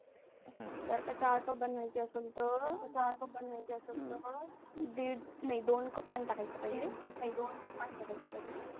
हम्म जर का चार जणांसाठी बनवायचे असेल तर दोन कप पाणी टाकायचे पहिले.